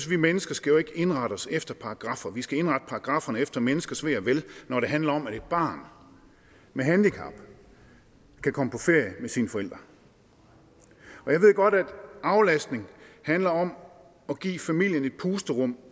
vi mennesker skal indrette os efter paragraffer vi skal indrette paragrafferne efter menneskers ve og vel når det handler om at et barn med handicap kan komme på ferie med sine forældre og jeg ved godt at aflastning handler om at give familien et pusterum